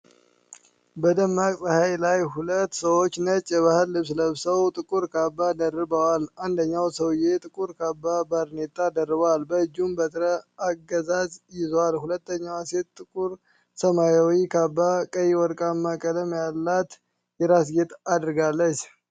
በደማቅ ፀሐይ ላይ፣ ሁለት ሰዎች ነጭ የባህል ልብስ ለብሰው ጥቁር ካባ ደርበዋል። አንደኛው ሰውዬ ጥቁር ካባና ባርኔጣ ደርቧል፤ በእጁም በትረ-አገዛዝ ይዟል። ሁለተኛዋ ሴት ጥቁር ሰማያዊ ካባ፣ ቀይና ወርቃማ ቀለም ያላት የራስ-ጌጥ አድርጋለች።